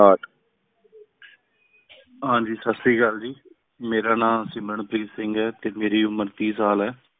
ਹਾਂ ਜੀ ਸਤ ਸ੍ਰੀ ਅਕਾਲ ਜੀ, ਮੇਰਾ ਨਾ ਸਿਮਰਨ ਪ੍ਰੀਤ ਸਿੰਘ ਆਯ ਟੀ ਮੇਰੀ ਉਮਰ ਤੀਸ ਸਾਲ ਹੈ